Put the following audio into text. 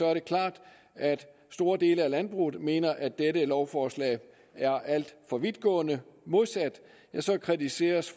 er klart at store dele af landbruget mener at det her lovforslag er alt for vidtgående modsat kritiseres